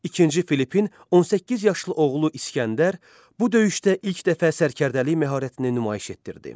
İkinci Filippin 18 yaşlı oğlu İsgəndər bu döyüşdə ilk dəfə sərkərdəlik məharətini nümayiş etdirdi.